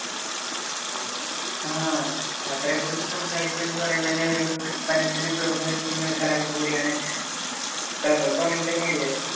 ആ യാത്രയെക്കുറിച്ച് സംസാരിക്കുക എന്നു പറയുന്നതുതന്നെ ഒരു മനസ്സിനു കുളിർമ നല്കുന്ന ഒരു കാര്യം കൂടിയാണ്. താങ്കൾക്കും അങ്ങനെതന്നെ അല്ലേ?